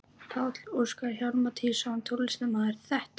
Páll Óskar Hjálmtýsson, tónlistarmaður: Þetta?